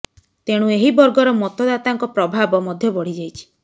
ତେଣୁ ଏହି ବର୍ଗର ମତଦାତାଙ୍କ ପ୍ରଭାବ ମଧ୍ୟ ବଢି ଯାଇଛି